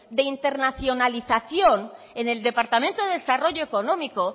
de internacionalización en el departamento de desarrollo económico